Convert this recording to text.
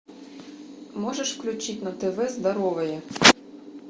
можешь включить на тв здоровые